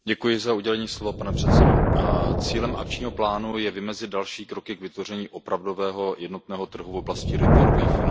Pane předsedající, cílem akčního plánu je vymezit další kroky k vytvoření opravdového jednotného trhu v oblasti retailových finančních služeb.